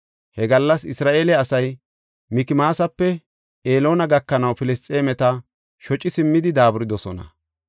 He gallas Isra7eele asay Mikmaasape Eloona gakanaw Filisxeemeta shoci simmidi daaburidosona.